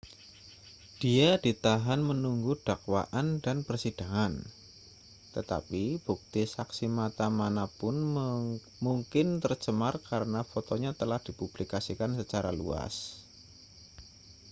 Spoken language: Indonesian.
dia ditahan menunggu dakwaan dan persidangan tetapi bukti saksi mata mana pun mungkin tercemar karena fotonya telah dipublikasikan secara luas